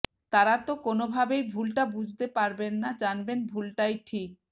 তারা তো কোনওভাবেই ভুলটা বুঝতে পারবেন না জানবেন ভুলটাই ঠিক